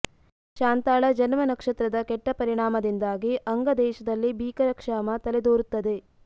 ಶಾಂತಾಳ ಜನ್ಮ ನಕ್ಷತ್ರದ ಕೆಟ್ಟ ಪರಿಣಾಮದಿಂದಾಗಿ ಅಂಗ ದೇಶದಲ್ಲಿ ಭೀಕರಕ್ಷಾಮ ತಲೆದೋರುತ್ತದೆ